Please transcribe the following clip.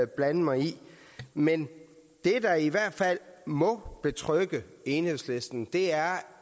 blande mig i men det der i hvert fald må betrygge enhedslisten er